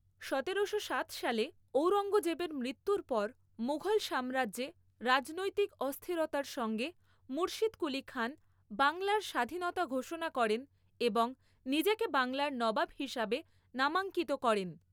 সতেরোশো সাত সালে ঔরঙ্গজেবের মৃত্যুর পর মুঘল সাম্রাজ্যে রাজনৈতিক অস্থিরতার সঙ্গে, মুর্শিদকুলি খান বাংলার স্বাধীনতা ঘোষণা করেন এবং নিজেকে বাংলার নবাব হিসাবে নামাঙ্কিত করেন।